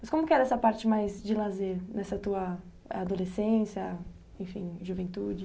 Mas como que era essa parte mais de lazer nessa tua adolescência, enfim, juventude?